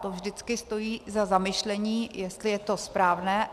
To vždycky stojí za zamyšlení, jestli je to správné.